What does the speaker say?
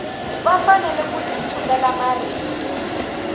fanele ku ti tshulela marito